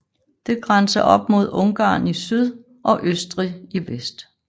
Det grænser op mod Ungarn i syd og Østrig i vest